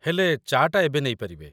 ହେଲେ, ଚା'ଟା ଏବେ ନେଇ ପାରିବେ ।